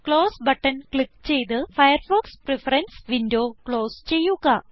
close button click ചെയ്ത് Firefox preference window close ചെയ്യുക